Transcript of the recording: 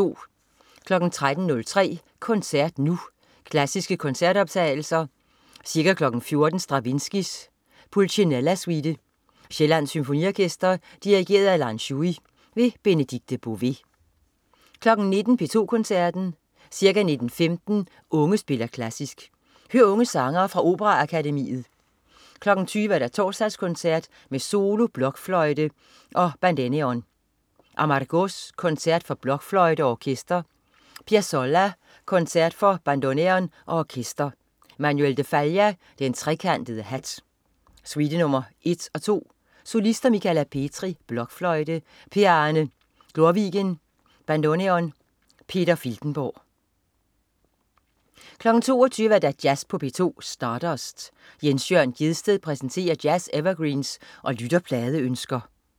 13.03 Koncert Nu. Klassiske koncertoptagelser. Ca. 14.00 Stravinskij: Pulcinella Suite. Sjællands Symfoniorkester. Dirigent: Lan Shui. Benedikte Bové 19.00 P2 Koncerten. Ca. 19.15 Unge spiller Klassisk. Hør unge sangere fra Operaakademiet. 20.00 Torsdagskoncert med solo blokfløjte og bandeneon. Amargós: Koncert for blokfløjte og orkester. Piazzolla: Koncert for bandoneon og orkester. Manuel de Falla: Den trekantede hat. Suite nr. 1 og nr. 2. Solister: Michala Petri, blokfløjte. Per Arne Glorvigen, bandoneon. Peter Filtenborg 22.00 Jazz på P2. Stardust. Jens Jørn Gjedsted præsenterer jazz-evergreens og lytterpladeønsker